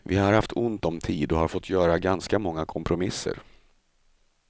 Vi har haft ont om tid och har fått göra ganska många kompromisser.